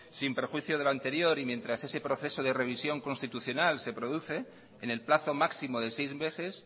sin prejuicio del anterior y mientras ese proceso de revisión constitucional se produce en el plazo máximo de seis meses